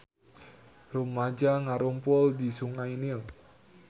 Rumaja ngarumpul di Sungai Nil